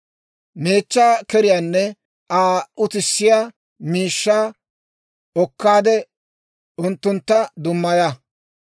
Meechchaa keriyaanne Aa utissiyaa miishshaa okkaadde unttuntta dummaya.